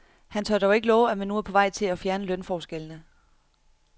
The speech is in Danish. Han tør dog ikke love, at man nu er på vej til at fjerne lønforskellene.